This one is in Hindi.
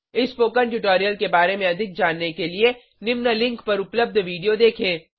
इस स्पोकन ट्यूटोरियल के बारे में अधिक जानने के लिए निम्न लिंक पर उपलब्ध वीडियो देखें